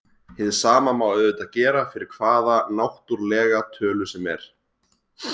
Hið sama má auðvitað gera fyrir hvaða náttúrlega tölu sem er.